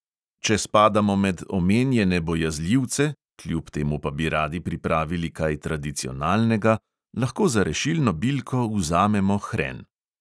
Če spadamo med omenjene bojazljivce, kljub temu pa bi radi pripravili kaj tradicionalnega, lahko za rešilno bilko vzamemo hren.